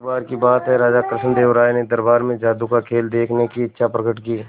एक बार की बात है कि राजा कृष्णदेव राय ने दरबार में जादू का खेल देखने की इच्छा प्रकट की